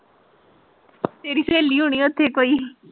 ਤੇਰੀ ਸਹੇਲੀ ਹੋਣੀ ਉਥੇ ਪਈ।